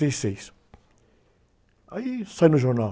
e seis, aí saiu no jornal.